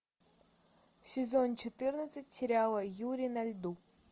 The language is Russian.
сезон четырнадцать сериала юри на льду